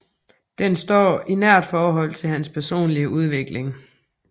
Den står i nært forhold til hans personlige udvikling